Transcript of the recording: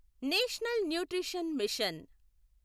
national nutrition machine